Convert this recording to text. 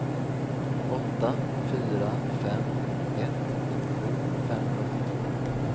åtta fyra fem ett nittiosju femhundraåttiotvå